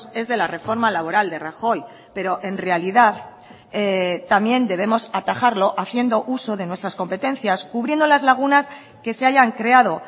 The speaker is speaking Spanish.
es de la reforma laboral de rajoy pero en realidad también debemos atajarlo haciendo uso de nuestras competencias cubriendo las lagunas que se hayan creado